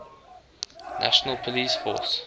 national police force